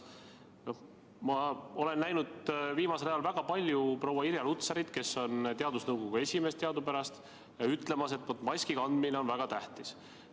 Ma olen viimasel ajal näinud väga palju proua Irja Lutsarit, kes on teadusnõukoja esimees, ütlemas, et maski kandmine on väga tähtis.